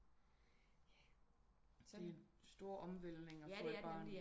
Det er en stor omvældtning at få et barn